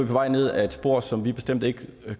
vej ned ad et spor som vi bestemt ikke